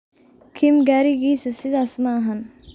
Kim garigisa sidhas maaxan.